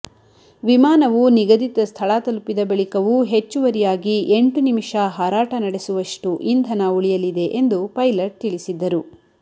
ವಿಮಾನವು ನಿಗದಿತ ಸ್ಥಳ ತಲುಪಿದ ಬಳಿಕವೂ ಹೆಚ್ಚುವರಿಯಾಗಿ ಎಂಟು ನಿಮಿಷ ಹಾರಾಟ ನಡೆಸುವಷ್ಟು ಇಂಧನ ಉಳಿಯಲಿದೆ ಎಂದು ಪೈಲಟ್ ತಿಳಿಸಿದ್ದರು